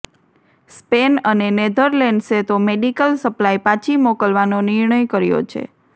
Spain અને નેધરલેન્ડસે તો મેડિકલ સપ્લાય પાછી મોકલવાનો નિર્ણય કર્યો છે